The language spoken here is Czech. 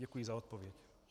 Děkuji za odpověď.